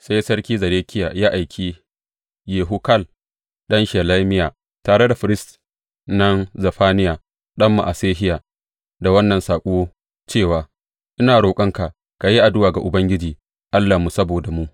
Sai sarki Zedekiya ya aiki Yehukal ɗan Shelemiya tare da firist nan Zefaniya ɗan Ma’asehiya da wannan saƙo cewa, Ina roƙonka ka yi addu’a ga Ubangiji Allahnmu saboda mu.